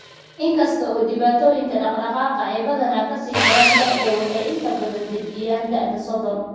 Inkasta oo dhibaatooyinka dhaqdhaqaaqa ay badanaa ka sii daraan da'da, waxay inta badan dejiyaan da'da Sodon.